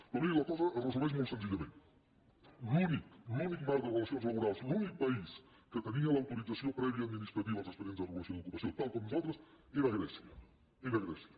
però miri la cosa es resumeix molt senzillament l’únic l’únic marc de relacions laborals l’únic país que tenia l’autoritza·ció prèvia administrativa dels expedients de regulació d’ocupació tal com nosaltres era grècia era grècia